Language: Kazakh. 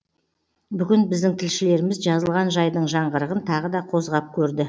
бүгін біздің тілшілеріміз жазылған жайдың жаңғырығын тағы да қозғап көрді